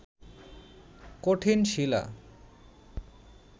কঠিন শিলা